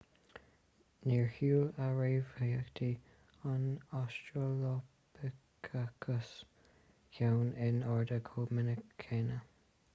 níor shiúil a réamhtheachtaí an australopithecus ceann in airde chomh minic céanna